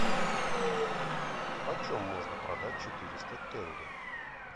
почем можно продать четыреста тенге